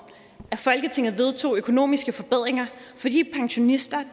at folketinget vedtog økonomiske forbedringer for de pensionister